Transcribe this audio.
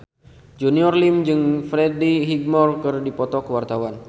Junior Liem jeung Freddie Highmore keur dipoto ku wartawan